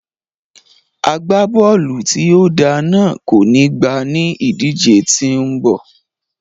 Agbábọ́ọ̀lù tí ó dáa náà kò ní gbá ní ìdíje tí ó ń bọ̀